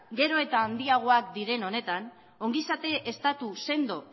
gero eta handiagoak diren honetan ongizate estatu sendo